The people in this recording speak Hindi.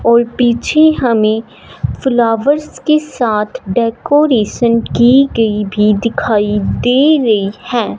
और पीछे हमें फ्लावर्स के साथ डेकोरेशन की गई भी दिखाई दे रही हैं।